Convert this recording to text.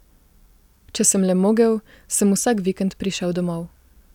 Če sem le mogel, sem vsak vikend prišel domov.